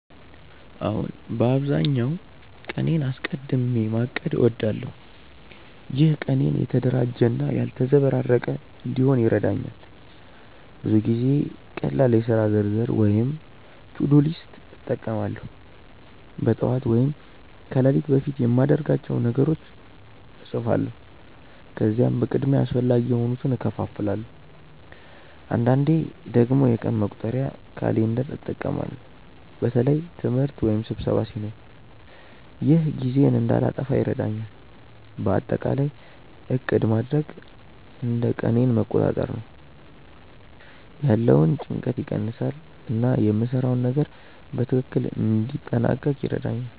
አዎን፣ በአብዛኛው ቀኔን አስቀድሚ ማቀድ እወዳለሁ። ይህ ቀኔን የተደራጀ እና ያልተዘበራረቀ እንዲሆን ይረዳኛል። ብዙ ጊዜ ቀላል የሥራ ዝርዝር (to-do list) እጠቀማለሁ። በጠዋት ወይም ከሌሊት በፊት የማድርጋቸውን ነገሮች እጻፋለሁ፣ ከዚያም በቅድሚያ አስፈላጊ የሆኑትን እከፋፍላለሁ። አንዳንዴ ደግሞ የቀን መቁጠሪያ (calendar) እጠቀማለሁ በተለይ ትምህርት ወይም ስብሰባ ሲኖር። ይህ ጊዜዬን እንዳልጠፋ ይረዳኛል። በአጠቃላይ ዕቅድ ማድረግ እንደ ቀኔን መቆጣጠር ነው፤ ያለውን ጭንቀት ይቀንሳል እና የምሰራውን ነገር በትክክል እንዲያጠናቅቅ ይረዳኛል።